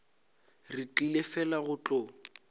re tlile fela go tlo